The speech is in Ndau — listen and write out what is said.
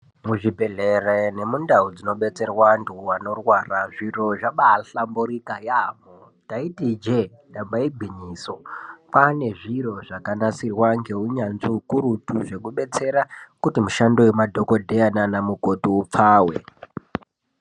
Muzvibhehlera nemundau munodetserwa antu anorwara zvintu zvabahlamburuka yaambo. Taiti ijee ndaba igwinyiso. Kwane zviro zvakanasirwa neuyanzvi ukurutu zvekudetsera mishando yemadhokodheya nanamukoti ipfave.